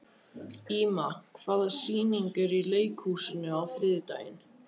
Íma, hvaða sýningar eru í leikhúsinu á þriðjudaginn?